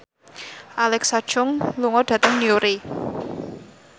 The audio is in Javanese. Alexa Chung lunga dhateng Newry